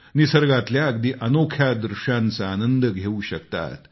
निसर्गातल्या अगदी अनोख्या दृष्यांचा आनंद घेऊ शकतात